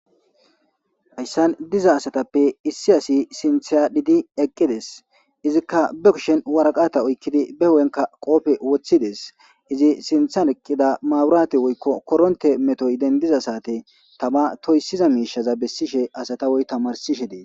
hayssan diza asatappe issi asi sinthyadhidi eqqides izikka ba kishen waraqata oykkidi be ho7enka qoofe woththides izi sintharqqida maaburate woykko koronte metoy dendiza saate tama toysiza miishaza bessishe asatawoy tamarsishe dee